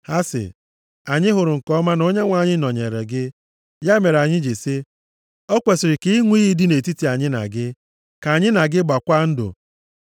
Ha sị, “Anyị hụrụ nke ọma na Onyenwe anyị nọnyeere gị, ya mere anyị ji sị, ‘O kwesiri ka ịṅụ iyi dị nʼetiti anyị na gị,’ ka anyị na gị gbaakwa ndụ